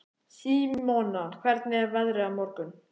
Símona, hvernig er veðrið á morgun?